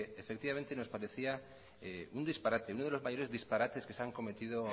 nos parecía un disparate uno de los mayores disparates que se han cometido